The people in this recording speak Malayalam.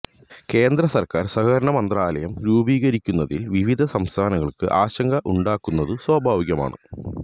കേന്ദ്ര സർക്കാർ സഹകരണ മന്ത്രാലയം രൂപീകരിക്കുന്നതിൽ വിവിധ സംസ്ഥാനങ്ങൾക്ക് ആശങ്ക ഉണ്ടാകുന്നതു സ്വാഭാവികമാണ്